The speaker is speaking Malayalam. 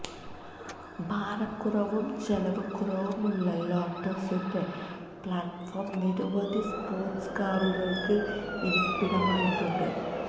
ഭാരക്കുറവും ചെലവ് കുറവുമുള്ള ലോട്ടസ്സിന്റെ പ്ലാറ്റ്ഫോം നിരവധി സ്പോര്ട്സ് കാറുകള്ക്ക് ഇരിപ്പിടമായിട്ടുണ്ട്